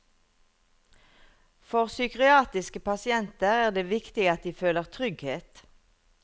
For psykiatriske pasienter er det viktig at de føler trygghet.